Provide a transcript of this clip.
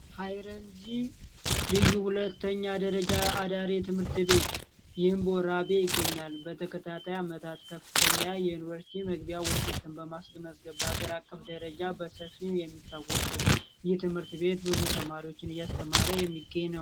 ሃይረጂ ልዩ ሁለተኛ ደረጃ አዳሪ ትምህርት ቤት ይገኛል በተከታታይ አመታት ከፍተኛ የዩኒቨርሲቲ መግቢያ ውጤት አቅም ደረጃ በሰፊው የሚታወቁ የትምህርት ቤት ብዙ ተማሪዎችን እያስተማረ የሚገኝ ነው